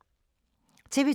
TV 2